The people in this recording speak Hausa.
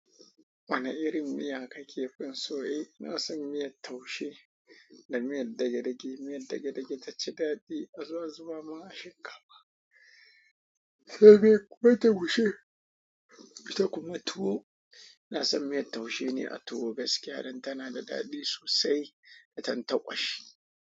Wane irin miya kake fi so? Eh, ina san miyar taushe da miyar dage-dage. Miyar dage-dage taci daɗi, a zo a zuba mun a shinkafa. Sai me kuma taushe, ita kuma tuwo. Na san miyar taushe ne a tuwo, gaskiya dan tana da daɗi sosai idan ta ƙwashi.